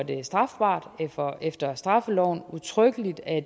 det strafbart efter straffeloven udtrykkeligt at